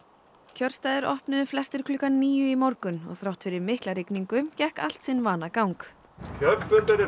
kjörstaðir opnuðu flestir klukkan níu í morgun og þrátt fyrir mikla rigningu gekk allt sinn vanagang oddvitarnir